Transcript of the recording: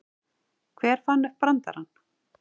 Hver fann upp brandarann?